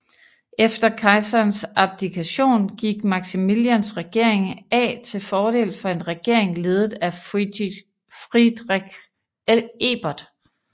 Efter kejserens abdikation gik Maximilians regering af til fordel for en regering ledet af Friedrich Ebert